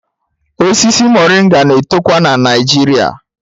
Osisi Moringa na-etokwa na Naịjirịa